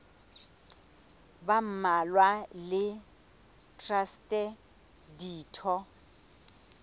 ba mmalwa le traste ditho